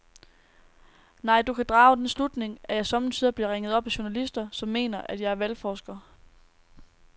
Nej, du kan drage den slutning, at jeg sommetider bliver ringet op af journalister, som mener, at jeg er valgforsker.